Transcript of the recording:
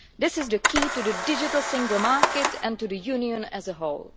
This is the key to the digital single market and to the Union as a whole.